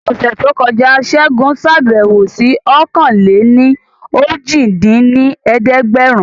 Ọ̀sẹ̀ tó kọjá Segun ṣàbẹ̀wò sí ọ̀kan-lé-ní-ojì dín ní ẹ̀ẹ́dẹ́gbẹ́rún